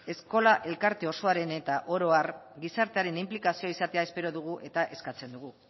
eskola elkarte osoaren eta orohar gizartearen inplikazioa izatea espero dugu eta eskatzen dugu